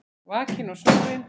Vakinn og sofinn.